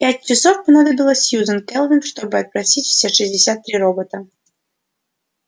пять часов понадобилось сьюзен кэлвин чтобы опросить все шестьдесят три робота